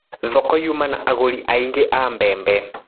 Thoko yuma na agũri aingĩ a mbembe.